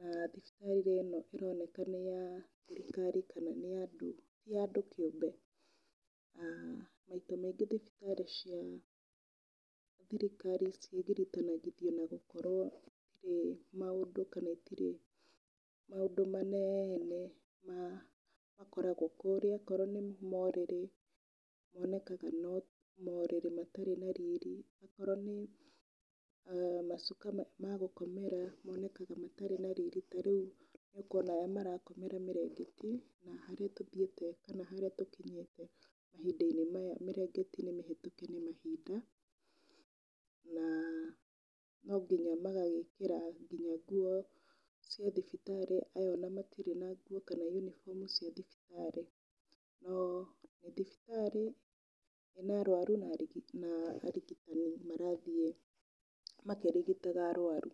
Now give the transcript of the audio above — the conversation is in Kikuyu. Na thibitarĩ ĩno ĩroneka nĩ ya thirikari kana nĩ ya andũ ti ya andũ kĩũmbe. Maita maingĩ thibitarĩ cia thirikari cigiritanagithio na gũkorwo ciĩ maũndũ kana itirĩ maũndũ manene makoragwo kũrĩa. O korwo nĩ morĩrĩ, monekaga no morĩrĩ mararĩ na riri, o korwo nĩ macuka magũkomera monekaga matarĩ na riiri. Ta rĩu nĩũkuona arĩa marakomera mĩrengeti na harĩa tũthiĩte kana harĩa tũkinyĩĩte mahinda-inĩ maya mĩrengeti nĩ mĩhĩtũke nĩ mahinda na no nginya magagĩkĩra ngĩnya nguo cia thibitarĩ. Aya ona matirĩ na nguo kana yunibomu cia thibitarĩ. No nĩ thibitarĩ ĩna arũaru na na arigitani marathiĩ makĩrigitaga arwaru.